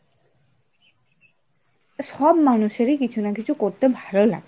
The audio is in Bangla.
সব মানুষেরই কিছু না কিছু করতে ভালো লাগে।